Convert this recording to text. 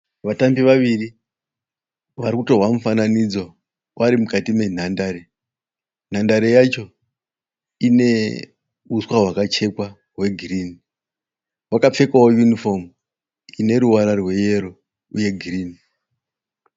Vatambi vaviri varikutorwa mufananidzo vari mukati menhandare. Nhandare yacho ine uswa hwakachekwa hwegirini. Vakapfekawo unifomu ineruvara rweyero uye girini.